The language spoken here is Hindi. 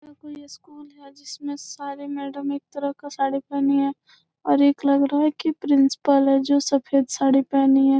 ये कोई स्कूल हैं जिसमें सारे मैडम एक तरह का साड़ी पेहनी हैं और एक लग रहा हैं की प्रिंसिपल हैं जो सफ़ेद साड़ी पेहनी हैं।